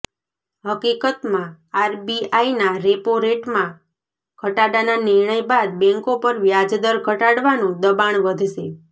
હકીકતમાં આરબીઆઇના રેપો રેટમાં ઘટાડાના નિર્ણય બાદ બેન્કો પર વ્યાજદર ઘટાડવાનું દબાણ વધશે